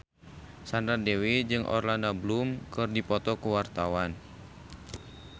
Sandra Dewi jeung Orlando Bloom keur dipoto ku wartawan